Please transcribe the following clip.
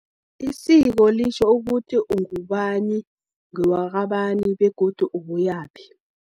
Isiko, litjho ukuthi ungubani, ngewakabani, begodu ubuyaphi.